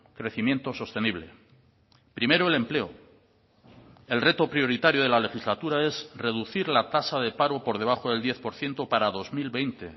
crecimiento sostenible primero el empleo el reto prioritario de la legislatura es reducir la tasa de paro por debajo del diez por ciento para dos mil veinte